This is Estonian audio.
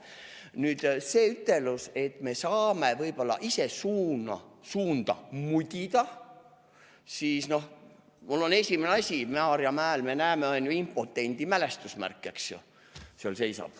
Nüüd see ütelus, et me saame võib-olla ise suunda mudida, siis mul on esimene asi, Maarjamäel seisab impotendi mälestusmärk, eks ju.